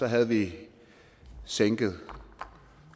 havde vi sænket